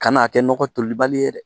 Ka na a kɛ nɔgɔ tolibali ye dɛ